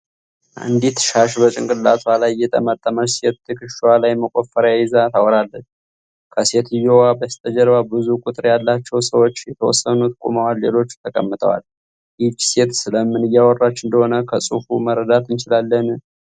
አንዲት ሻሽ በጭንቅላቷ ላይ የጠመጠመች ሴት ትከሻዋ ላይ መቆፈሪያ ይዛ ታወራለች። ከሴትዮዋ በስተጀርባ ብዙ ቁጥር ያላቸው ሰዎች የተወሰኑት ቆመዋል ሌሎቹ ተቀምጠዋል። ይህቺ ሴት ስለምን እያወራች እንደሆነ ከጽፉ መረዳት እንችላለን?